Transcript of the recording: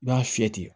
I b'a fiyɛ ten